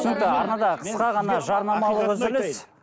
арнада қысқа ғана жарнамалық үзіліс